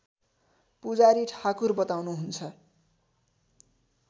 पुजारी ठाकुर बताउनुहुन्छ